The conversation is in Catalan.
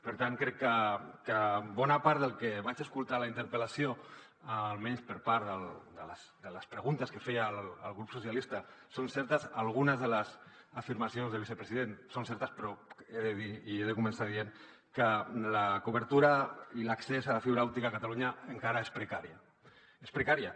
per tant crec que bona part del que vaig escoltar en la interpel·lació almenys per part de les preguntes que feia el grup socialistes són certes algunes de les afirmacions del vicepresident són certes però he de dir i he de començar dient que la cobertura i l’accés a la fibra òptica a catalunya encara és precària és precària